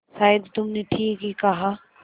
शायद तुमने ठीक ही कहा